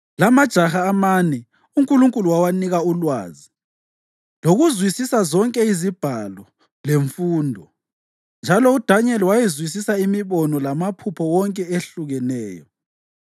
La amajaha amane uNkulunkulu wawanika ulwazi lokuzwisisa zonke izibhalo lemfundo. Njalo uDanyeli wayezwisisa imibono lamaphupho wonke ehlukeneyo.